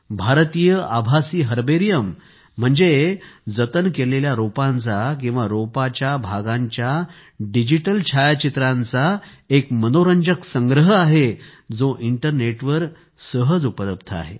भारतीय आभासी हर्बेरियम जतन केलेल्या रोपांचा किंवा रोपाच्या भागांच्या डिजिटल छायाचित्रांचा एक मनोरंजक संग्रह आहे जो इंटरनेटवर सहज उपलब्ध आहे